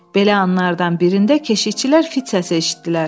Belə anlardan birində keşikçilər fit səsi eşitdilər.